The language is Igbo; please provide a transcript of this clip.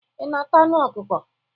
Ị na-ata anụ ọkukọ?